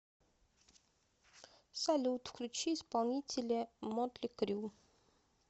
салют включи исполнителя мотли крю